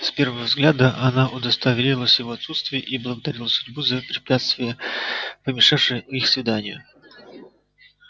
с первого взгляда она удостоверилась в его отсутствии и благодарила судьбу за препятствие помешавшее их свиданию